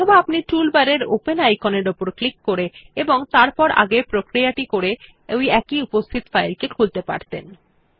অথবা আপনি উপরের টুলবারের ওপেন আইকনের উপর ক্লিক করে এবং তারপর আগের প্রক্রিয়া টি করে একটি উপস্থিত ফাইলটি খুলতে পারতেন